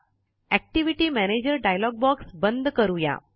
activity manager dialog box बंद करूया